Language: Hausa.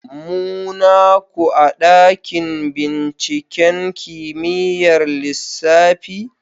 Muna ku a dakin binciken kimiyyar lissafi?